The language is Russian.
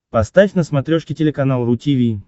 поставь на смотрешке телеканал ру ти ви